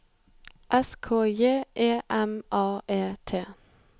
S K J E M A E T